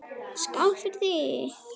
Skál fyrir því!